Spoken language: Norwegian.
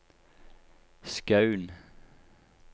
Skaun